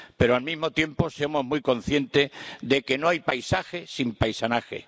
Pero, al mismo tiempo, somos muy consciente de que no hay paisaje sin paisanaje.